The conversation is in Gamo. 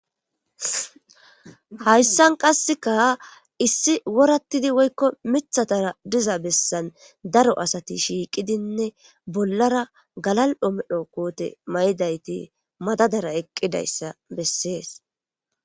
hayssan qasseka issi worattidi woykko mithatara diza bessan daro asati shiiqidinne bollara galal7o medho koote maydayti madadara eqqidayssa bessees